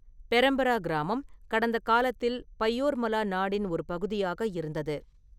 பெரம்ப்ரா கிராமம் கடந்த காலத்தில் 'பயோர்மலா நாடு' இன் ஒரு பகுதியாக இருந்தது.